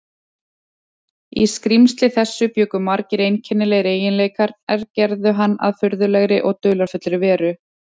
Í skrímsli þessu bjuggu margir einkennilegir eiginleikar, er gerðu hann að furðulegri og dularfullri veru.